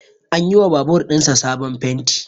An yi wa babur ɗin sa sabon fenti